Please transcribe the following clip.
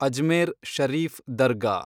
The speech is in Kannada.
ಅಜ್ಮೇರ್ ಶರೀಫ್ ದರ್ಗಾ